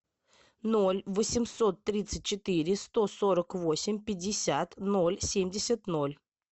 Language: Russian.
ноль восемьсот тридцать четыре сто сорок восемь пятьдесят ноль семьдесят ноль